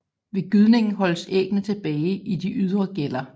Ved gydningen holdes æggene tilbage i de ydre gæller